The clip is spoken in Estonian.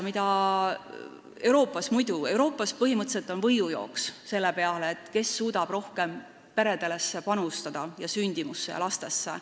Euroopas käib põhimõtteliselt võidujooks, kes suudab rohkem panustada peredesse, sündimusse ja lastesse.